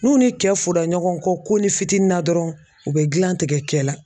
N'u ni cɛ fɔda ɲɔgɔn kɔ ko ni fitini na dɔrɔn u bɛ gilan tigɛ cɛ la.